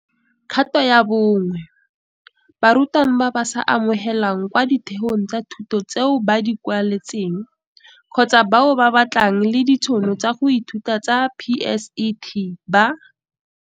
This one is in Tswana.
Kgato ya bo 1 - Barutwana ba ba sa amogelwang kwa ditheong tsa thuto tseo ba di kwaletseng, kgotsa bao ba batlanang le ditšhono tsa go ithuta tsa PSET, ba